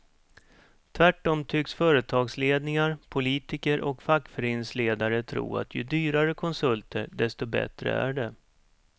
Tvärtom tycks företagsledningar, politiker och fackföreningsledare tro att ju dyrare konsulter desto bättre är det.